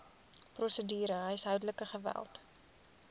prosedure huishoudelike geweld